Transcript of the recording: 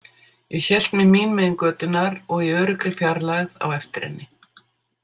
Ég hélt mig mín megin götunnar og í öruggri fjarlægð á eftir henni.